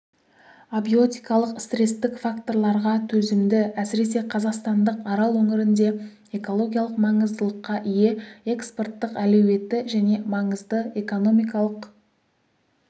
абиотикалық стресстік факторларға төзімді әсіресе қазақстандық арал өңірінде экологиялық маңыздылыққа ие экспорттық әлеуеті және маңызды экономикалық